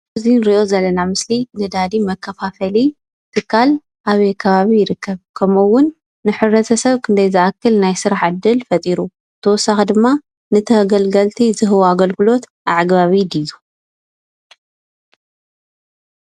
እዚ እንሪኦ ዘለና ምስሊ ነዳዲ መካፋፈሊ ትካል ኣበይ ከባቢ ይርከብ? ከምኡ እውን ንሕብረተሰብ ክንደይ ዝኣክል ናይ ስራሕ ዕድል ፈጢሩ? ብተወሳኪ ድማ ንተገልገልቲ ዝህቦ ኣግልግሎት ኣዕጋቢ ድዩ?